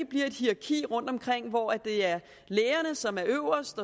bliver et hierarki rundtomkring hvor det er lægerne som er øverst